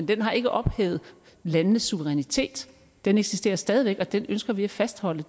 den har ikke ophævet landenes suverænitet den eksisterer stadig væk og den ønsker vi at fastholde